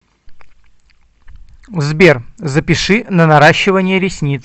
сбер запиши на наращивание ресниц